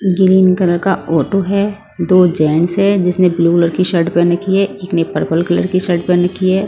Green colour का auto है दो जेंट्स है जिसने ब्लू कलर शर्ट पहन रखी है एक ने पर्पल कलर की शर्ट पहन रखी है।